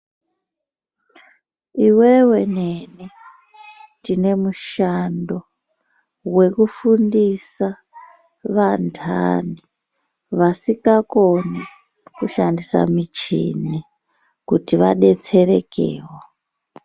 Iwewe neni, tinemushando wekufundisa vantani vasingakoni kushandisa michini kuti vadetserekewo.